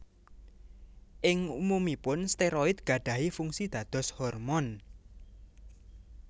Ing umumuipun steroid gadahi fungsi dados hormon